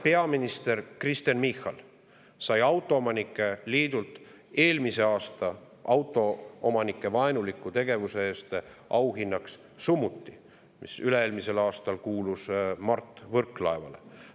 Peaminister Kristen Michal sai autoomanike liidult autoomanike suhtes vaenuliku tegevuse eest eelmisel aastal auhinnaks summuti, mis üle-eelmisel aastal kuulus Mart Võrklaevale.